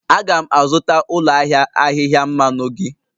Aga'm azụta ụlọ ahịa ahịhịa mmanụ gị